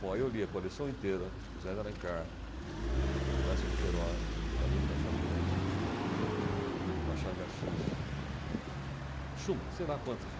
Bom, aí eu li a coleção inteira do Zé de Alencar, do Eça de Queirós, do Camilo Castelo Branco, Machado de Assis, Schumann, sei lá quantos.